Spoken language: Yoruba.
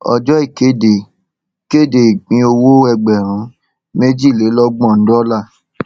ọjọ ìkéde kéde ìpínowó ẹgbèrún méjìlélọgbọn dọọlà